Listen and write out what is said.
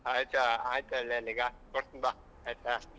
ಆಯ್ತು ಹೇಳ್ ಆಯ್ತು ಹೇಳ್ ಲೇ ಈಗ ಕೊಡ್ತೀನಿ ಬಾ ಆಯ್ತಾ